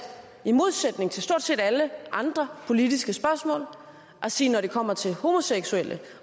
i modsætning til stort set alle andre politiske spørgsmål at sige at når det kommer til homoseksuelle